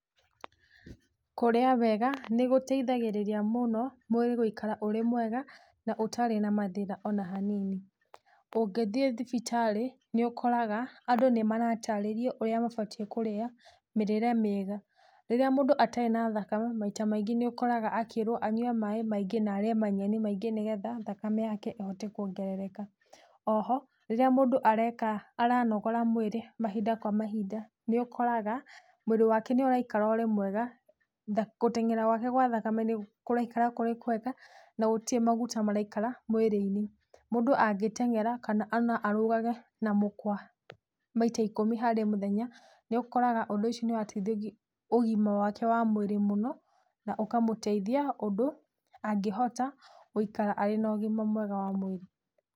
Kũrĩa wega, nĩ gũteithagĩrĩria mũno mwĩrĩ gũikara ũrĩ mwega na ũtarĩ na mathĩna ona hanini. Ũngĩthie thibitarĩ nĩ ũkoraga, andũ nĩ maratarĩrio ũrĩa mabatie kũrĩa mĩrĩre mĩega, rĩrĩa mũndũ atarĩ na thakame, maita maingĩ nĩ ũkoraga akíĩrwo anyue maĩ maingĩ na arĩe manyeni maingĩ nigetha thakame yake ĩhote kuongerereka. Oho, rĩrĩa mũndũ aranogora mwĩrĩ, mahinda kwa mahinda, nĩ ũkoraga mwĩrĩ wake nĩ ũraikara ũrĩ mwega, gũteng'era gwake gwa thakame nĩ kũraikara kũrĩ kwega na gũtĩre maguta maraikara mwĩrĩ-ĩnĩ. Mũndũ angĩteng'era, kana ona arũgage na mũkwa maita ikũmi harĩ mũthenya nĩ ũkoraga ũndũ ũcio nĩ wateithia ũgima wake wa mwĩrĩ mũno na ũkamũteithia ũndũ angĩhota gũikara arĩ na ũgima mwega wa mwĩrĩ.